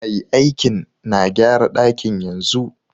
Mai aikin na gyara dakin yanzu.